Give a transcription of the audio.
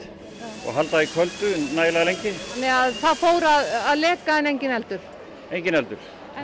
og halda því köldu nægilega lengi þannig að það fór að leka en enginn eldur enginn eldur